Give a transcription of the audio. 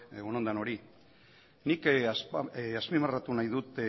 egun on danori nik azpimarratu nahi dut